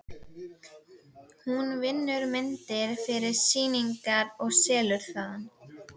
Hún vinnur myndir fyrir sýningar og selur þaðan.